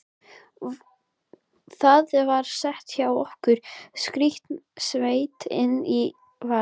Það var skemmtun hjá okkur, skaut Svenni inn í vesældarlega.